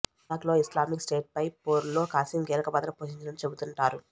ఇరాక్లో Islamic స్టేట్పై పోరులో Qasem కీలక పాత్ర పోషించినట్లు చెబుతుంటారు